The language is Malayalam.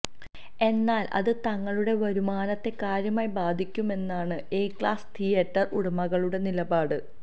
എന്നാല് അത് തങ്ങളുടെ വരുമാനത്തെ കാര്യമായി ബാധിക്കുമെന്നാണ് എ ക്ലാസ് തീയേറ്റര് ഉടമകളുടെ നിലപാട്